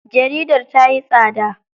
Jaridar tayi tsada.